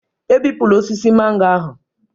Ebipụla osisi mango ahụ